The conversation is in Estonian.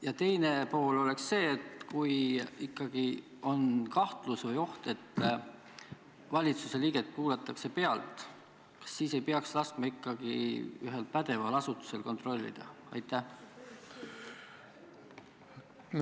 Ja teine küsimus on see: kui ikkagi on kahtlus või oht, et valitsuse liiget kuulatakse pealt, kas siis ei peaks laskma ühel pädeval asutusel seda kontrollida?